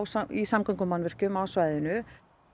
í samgöngumannvirkjum á svæðinu